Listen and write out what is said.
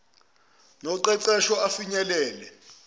entuthuko noqeqesho afinyelele